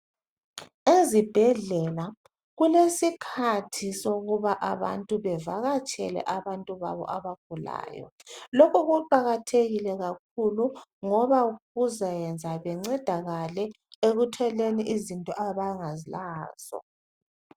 Ezibhedlela kulesikhathi sokuba abantu bevakatshela abantu babo abagulayo. Lokho kuqakathekile kakhulu ngoba kuzayenza bencedakale ekutholeni izinto abangalazo.